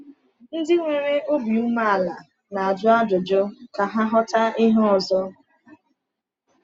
Ndị nwere obi umeala na-ajụ ajụjụ ka ha ghọta ihe ọzọ.